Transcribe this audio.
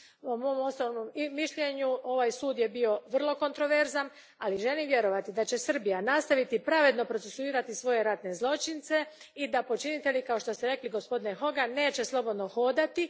Po mom osobnom mišljenju, ovaj je sud bio vrlo kontroverzan, ali želim vjerovati da će Srbija nastaviti pravedno procesuirati svoje ratne zločince i da počinitelji, kao što ste rekli, gospodine Hogan, neće slobodno hodati